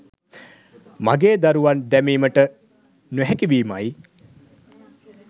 මගේදරුවන් දැමීමට නොහැකිවීමයි.